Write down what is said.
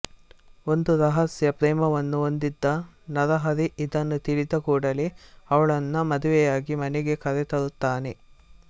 ಒಂದು ರಹಸ್ಯ ಪ್ರೇಮವನ್ನು ಹೊಂದ್ದಿದ್ದ ನರಹರಿ ಇದನ್ನು ತಿಳಿದ ಕೂಡಲೇ ಅವಳನ್ನು ಮದುವೆಯಾಗಿ ಮನೆಗೆ ಕರೆತರುತ್ತಾನೆ